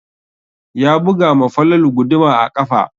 Ya buga ma Falalu guduma a ƙafa.